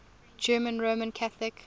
german roman catholic